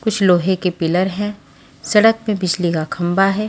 कुछ लोहे के पिलर हैं सड़क में बिजली का खंबा है।